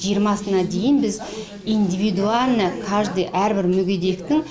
жиырмасына дейін біз индивидуально каждый әрбір мүгедектің